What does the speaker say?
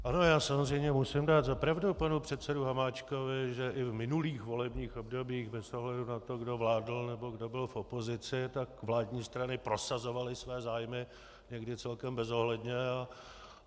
Ano, já samozřejmě musím dát za pravdu panu předsedovi Hamáčkovi, že i v minulých volebních obdobích bez ohledu na to, kdo vládl nebo kdo byl v opozici, tak vládní strany prosazovaly své zájmy, někdy celkem bezohledně.